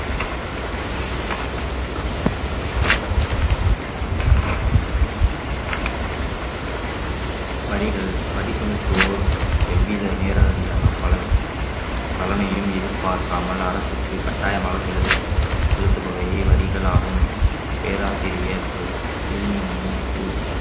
வரிகள் வரி செலுத்துவோர் எவ்வித நேரடியாக பல~ பலனையும் எதிர்பார்க்காமல் அரசுக்கு கட்டாயமாக செலுத்~ செலுத்துபவை வரிகளாகும் பேராசிரியர் சிவ்~ சிவலிங்கமணி கூற்~